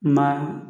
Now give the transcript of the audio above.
Ma